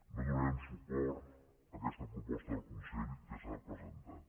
no donarem suport a aquesta proposta del consell que s’ha presentat